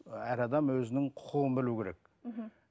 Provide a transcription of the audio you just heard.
әр адам өзінің құқығын білу керек мхм